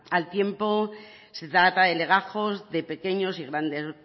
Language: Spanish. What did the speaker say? al tiempo se trata de legajos de pequeños y grandes